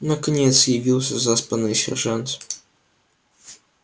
наконец явился заспанный сержант